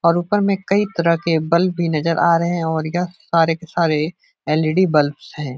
और ऊपर में कई तरह के बल्ब भी नजर आ रहे हैं और यह सारे के सारे एल. ई. डी. बल्ब्स हैं।